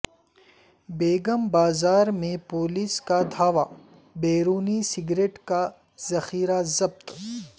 بیگم بازار میں پولیس کا دھاوا بیرونی سگریٹ کا ذخیرہ ضبط